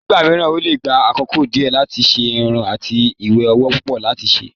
Nígbà mìíràn, ó lè gba àkókò díẹ̀ láti ṣe irun àti iye owó púpọ̀ láti ṣe.